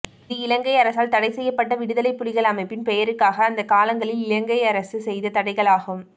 இது இலங்கை அரசால் தடை செய்யப்பட்ட விடுதலை புலிகள் அமைப்பின் பெயருக்காக அந்த காலங்களில் இலங்கை அரசு செய்த தடைகளாகும்